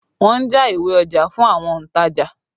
Wọn ń já ìwé ọjà fún àwọn ontaja